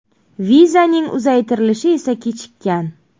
Vizaning uzaytirilishi esa kechikkan.